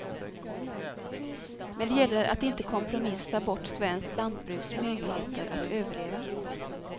Men det gäller att inte kompromissa bort svenskt lantbruks möjligheter att överleva.